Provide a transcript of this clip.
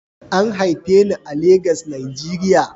An haife ni a Legas, Najeriya